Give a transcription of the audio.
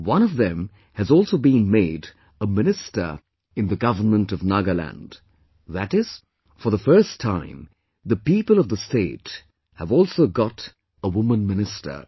One of them has also been made a minister in the Government of Nagaland, that is, for the first time the people of the state have also got a woman minister